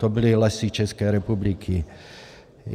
To byly Lesy České republiky.